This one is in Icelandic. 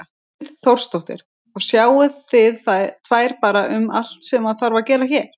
Hrund Þórsdóttir: Og sjáið þið tvær bara um allt sem þarf að gera hérna?